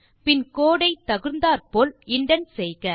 பின் code ஐ தகுந்தாற்போல indent செய்க